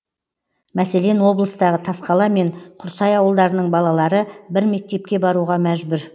мәселен облыстағы тасқала мен құрсай ауылдарының балалары бір мектепке баруға мәжбүр